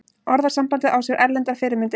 Orðasambandið á sér erlendar fyrirmyndir.